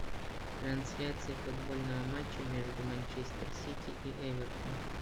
трансляция футбольного матча между манчестер сити и эвертон